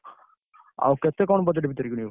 ଆଉ କେତେ କଣ budget ଭିତରେ କିଣିବ?